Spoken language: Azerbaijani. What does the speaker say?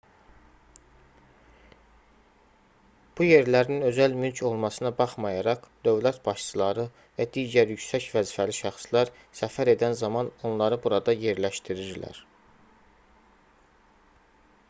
bu yerlərin özəl mülk olmasına baxmayaraq dövlət başçıları və digər yüksək vəzifəli şəxslər səfər edən zaman onları burada yerləşdirirlər